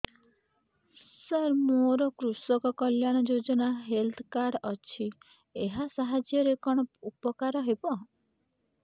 ସାର ମୋର କୃଷକ କଲ୍ୟାଣ ଯୋଜନା ହେଲ୍ଥ କାର୍ଡ ଅଛି ଏହା ସାହାଯ୍ୟ ରେ କଣ ଉପକାର ହବ